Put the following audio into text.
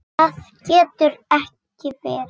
Annað getur ekki verið.